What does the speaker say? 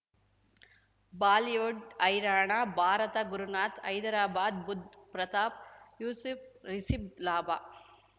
Bollywood ಹೈರಾಣ ಭಾರತ ಗುರುನಾಥ್ ಹೈದ್ರಾಬಾದ್ ಬುಧ್ ಪ್ರತಾಪ್ ಯೂಸುಫ್ ರಿಸಿಬ್ ಲಾಭ